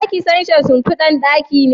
Za ki canja shimfidan ɗaki ne?